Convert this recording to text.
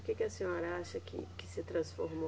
O que que a senhora acha que, que se transformou?